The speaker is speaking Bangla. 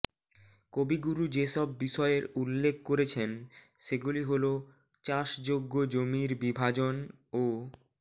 কবিগুরু যেসব বিষয়ের উল্লেখ করেছেন সেগুলি হলঃ চাষযোগ্য জমির বিভাজন ও